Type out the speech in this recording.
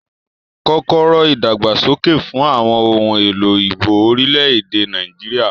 Kọ́kọ́rọ́ ìdàgbàsókè fún àwọn ohun èlò igbó orílẹ̀-èdè Nàìjíríà.